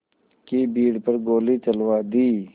की भीड़ पर गोली चलवा दी